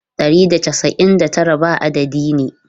Ɗari da casa'in da tara ba adadi ne.